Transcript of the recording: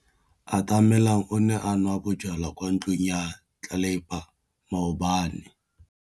Atamelang o ne a nwa bojwala kwa ntlong ya tlelapa maobane.